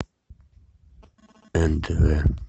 нтв